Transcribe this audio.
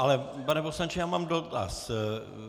Ale, pane poslanče, já mám dotaz.